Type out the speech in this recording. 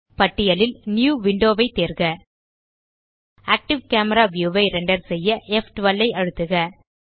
பட்டியலில் new window ஐ தேர்க ஆக்டிவ் கேமரா வியூ ஐ ரெண்டர் செய்ய ப்12 ஐ அழுத்துக